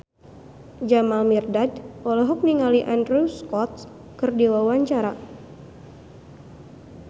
Jamal Mirdad olohok ningali Andrew Scott keur diwawancara